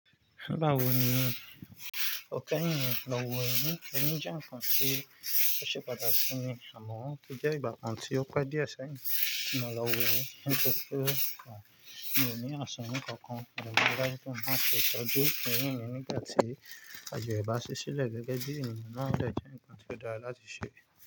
Bawo ni òkè ìrìn lọ́wọ́ irin? Irin jẹ́ nǹkan tí ó ṣe pàtàkì sí mi àmọ́ ó jẹ́ ìgbà kan tí ó pa díẹ̀ sáyìí kí mo lọ wọ irin nítorí pé mi ò ní àsọ nǹkan kan. Òògùn alágbèékọ́ máa ṣe ìtọ́jú irin mi nígbà tí àjọ̀rọ̀ bá ṣí sílẹ̀ gẹ́gẹ́ bí ènìyàn náà jẹ́ nǹkan tí ó dára láti ṣe.